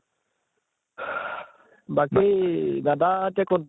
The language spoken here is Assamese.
বাকী দাদা এতিয়া কʼত ?